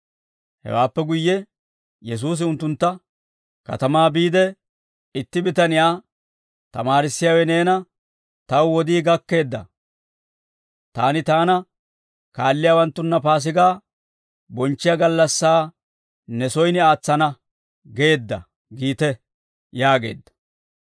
Hewaappe guyye Yesuusi unttuntta, «Katamaa biide, itti bitaniyaa, ‹Tamaarissiyaawe neena, «Taw wodii gakkeedda; taani taana kaalliyaawanttunna Paasigaa bonchchiyaa gallassaa ne soyin aatsana» geedda› giite» yaageedda.